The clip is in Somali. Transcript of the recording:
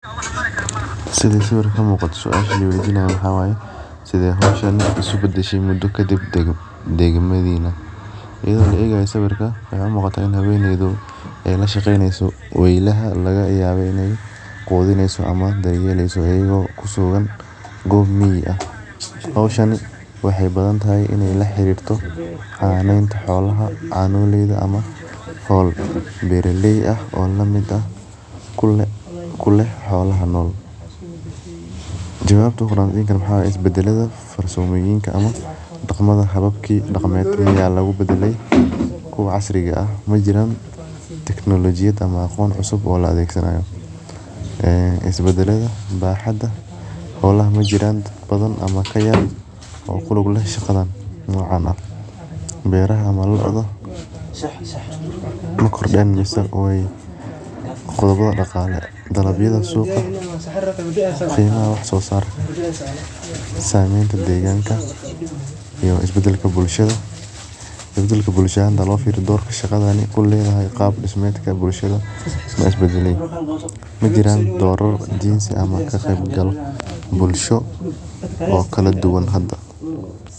Sithi sawirkan kamuqada suasha liweydinaya waxaa waye sithe hoshan isku badashe muda kadib degmadina iyaada oo laegayo waxee u muqataa in haweneydu lashaqeyneso weylaha lagayawa in ee qudineyso iyada oo kusugan gob mig ah hoshan waxee badan tahay in ee la xirirto xananeta xoalaha canoleyda ama hol beer oo lamid ah kulug leh xolaha jawabta waxaa waye isbadaladha ama daqmada hababki lobadalay kuwa casriga ah majiran tecnolojiyaad ama aqon cusub oo la adhegsanayo ee isbadaladha xolaha majiran oo kulug leh shaqada nocan eh beeraha dulka dan wesan dalabyada qimaha wax sosarka samenta deganka iyo isbadalka bulshaada hadii lofiro qab ahanta isbadale majiraa dorar muhiim ah ama ka qeb gal bulsho oo kala duwan hada.